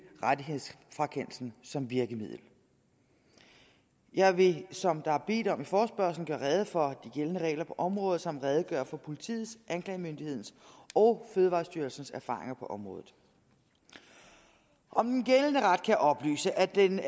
rettighedsfrakendelsen som virkemiddel jeg vil som der er bedt om i forespørgslen gøre rede for de gældende regler på området samt redegøre for politiets anklagemyndighedens og fødevarestyrelsens erfaringer på området om den gældende ret jeg oplyse at den